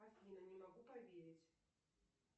афина не могу поверить